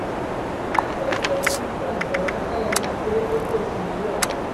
Madueke ugbu a dọrọ aka ya gafee Oké Osimiri Ọbara.